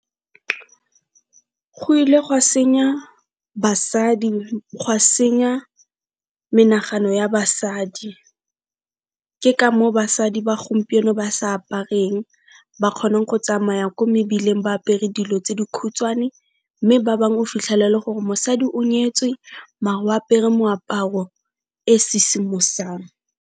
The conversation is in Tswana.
Go ile gwa senya basadi, gwa senya menagano ya basadi ke ka moo basadi ba gompieno ba sa apareng, ba kgona go tsamaya ko mebileng ba apere dilo tse dikhutshwane mme ba bang o fitlhela e le gore mosadi o nyetswe mare o apere moaparo e sisimosang.